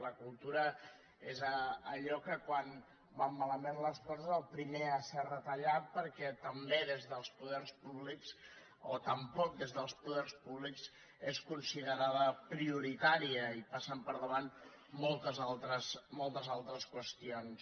la cultura és allò que quan van malament les coses és el primer a ser retallat perquè també des dels poders públics o tampoc des dels poders públics és considerada prioritària hi passen per davant moltes altres qüestions